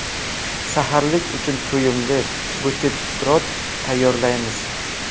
Saharlik uchun to‘yimli buterbrod tayyorlaymiz.